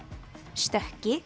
stökki